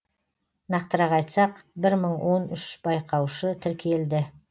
нақтырақ айтсақ бір мың он үш байқаушы тіркелді